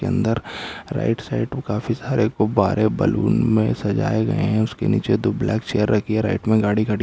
अंदर right side में काफी सारे गुब्बारे बलून में सजाए गए हैं उसके नीचे दो ब्लैक चेयर रखी हैं राइट में गाडी खड़ी --